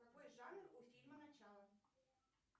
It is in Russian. какой жанр у фильма начало